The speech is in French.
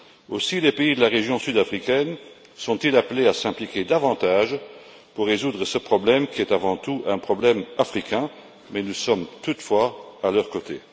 Aussi les pays de la région d'Afrique australe sont ils appelés à s'impliquer davantage pour résoudre ce problème qui est, avant tout, un problème africain, mais nous sommes toutefois à leurs côtés.